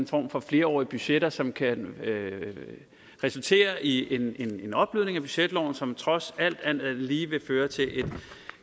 form for flerårige budgetter som kan resultere i en opblødning af budgetloven som trods alt alt andet lige vil føre til